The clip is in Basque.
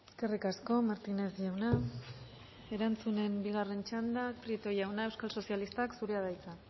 eskerrik asko martínez jauna erantzunen bigarren txanda prieto jauna euskal sozialistak zurea da hitza